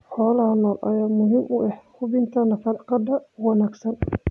Xoolaha nool ayaa muhiim u ah hubinta nafaqada wanaagsan.